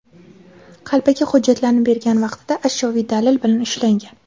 qalbaki hujjatlarni bergan vaqtida ashyoviy dalil bilan ushlangan.